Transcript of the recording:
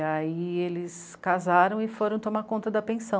E aí eles casaram e foram tomar conta da pensão.